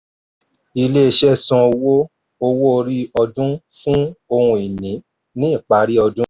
ilé iṣẹ́ san owó owó orí ọdún fún ohun-ini ní ìparí ọdún.